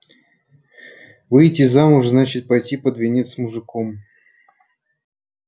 выйти замуж значит пойти под венец с мужиком